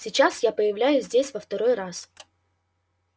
сейчас я появляюсь здесь во второй раз